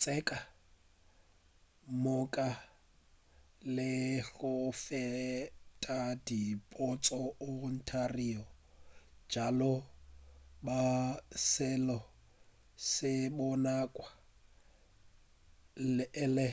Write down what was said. tše ka moka le go feta di bontša ontario bjalo ka seo se bonagwa e le